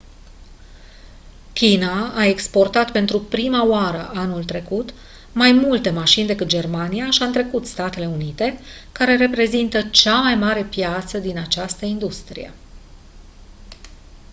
china a exportat pentru prima oară anul trecut mai multe mașini decât germania și a întrecut statele unite care reprezintă cea mai mare piață din această industrie